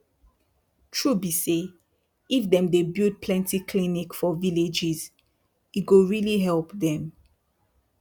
true be say if dem build plenty clinic for villages e go really help them.